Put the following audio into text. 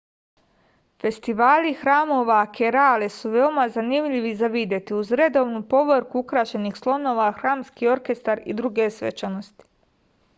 festivali hramova kerale su veoma zanimljivi za videti uz redovnu povorku ukrašenih slonova hramski orkestar i druge svečanosti